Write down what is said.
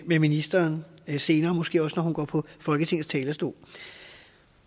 ministeren senere måske når hun går på folketingets talerstol